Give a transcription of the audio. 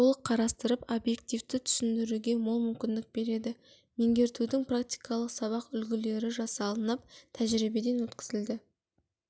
толық қарастырып объективті түсіндіруге мол мүмкіндік береді меңгертудің практикалық сабақ үлгілері жасылынып тәжірибеден өткізілді